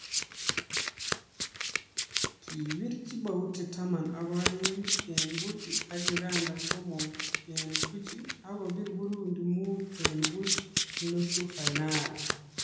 Kibir Djibouti taman ak oeng eng buch ak Uganda somok eng buch akobir Burundi muut eng buch eng nusu fainali